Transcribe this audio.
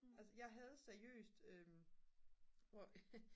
altså jeg havde seriøst